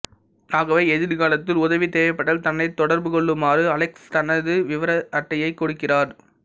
ஆகவே எதிர்காலத்தில் உதவி தேவைப்பட்டால் தன்னை தொடர்புகொள்ளுமாறு அலெக்ஸ் தனது விவர அட்டையைக் கொடுக்கிறார்